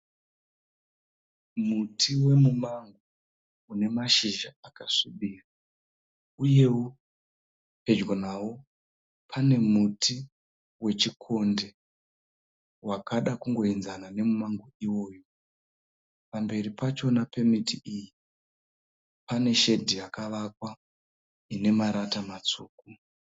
Muti wemumango, une mashizha akasvibira uyewo pedyo nawo pane muti wechikonde wakada kungoinzana nemumango iwoyu. Pamberi pachona pemiti iyi, pane shedhi yakavakwa, inemarata matsvuku.